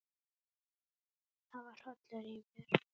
Það var hrollur í mér.